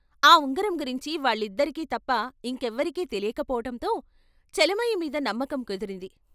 ఆ ఉంగరం గురించి వాళ్ళిద్దరికీ తప్ప ఇంకెవరికీ తెలియక పోవటంతో చలమయ్యమీద నమ్మకం కుదిరింది.